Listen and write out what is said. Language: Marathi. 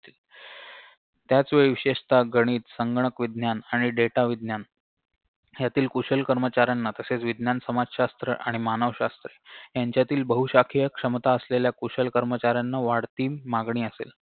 त्याचवेळी विशेषतः गणित संगणक विज्ञान आणि data विज्ञान ह्यातील कुशल कर्मचाऱ्यांना तसेच विज्ञान समाजशास्त्र आणि मानवशास्त्र ह्यांच्यातील बहुशाखीय क्षमता असलेल्या कुशल कर्मचाऱ्यांना वाढती मागणी असेल